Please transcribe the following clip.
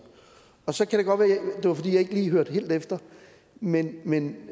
så kan det godt være at det var fordi jeg ikke lige hørte helt efter men men